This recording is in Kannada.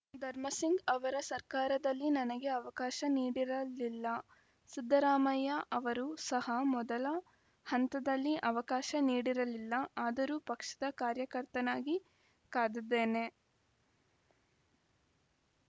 ಧರ್ಮಸಿಂಗ್‌ ಅವರ ಸರ್ಕಾರದಲ್ಲಿ ನನಗೆ ಅವಕಾಶ ನೀಡಿರಲಿಲ್ಲ ಸಿದ್ದರಾಮಯ್ಯ ಅವರು ಸಹ ಮೊದಲ ಹಂತದಲ್ಲಿ ಅವಕಾಶ ನೀಡಿರಲಿಲ್ಲ ಆದರೂ ಪಕ್ಷದ ಕಾರ್ಯಕರ್ತನಾಗಿ ಕಾದಿದ್ದೇನೆ